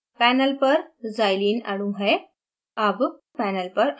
अब हमारे पास panel पर xylene अणु है